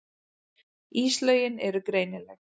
Íslögin eru greinileg.